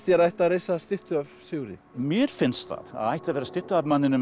það ætti að reisa styttu af Sigurði mér finnst að það ætti að vera stytta af manninum